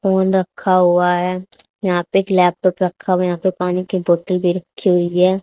Phone रखा हुआ है। यहां पे एक लैपटॉप रखा हुआ है यहां पे पानी की बॉटल भी रखी हुई है।